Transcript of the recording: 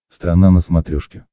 страна на смотрешке